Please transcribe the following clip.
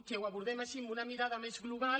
que ho abordem així amb una mirada més global